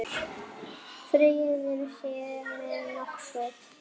Friður sé með okkur.